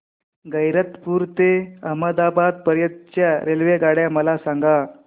गैरतपुर ते अहमदाबाद पर्यंत च्या रेल्वेगाड्या मला सांगा